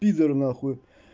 пидор на хуй